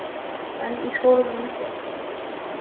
En í skólum landsins?